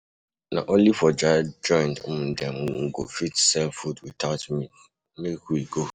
Na only for dat joint um dem um go fit sell food witout meat, make we go.